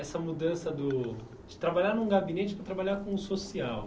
Essa mudança do de trabalhar num gabinete para trabalhar com o social.